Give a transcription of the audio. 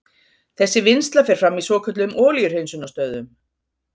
Þessi vinnsla fer fram í svokölluðum olíuhreinsunarstöðvum.